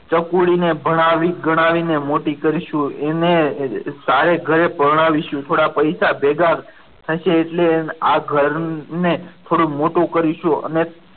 ચકુડી ને ભણાવી ગણાવી ને મોટી કરશું એણે સારે ઘરે પરણાવીશું થોડા પૈસા ભેગા થશે એટલે આ ઘરને થોડું મોટું કરીશું. અને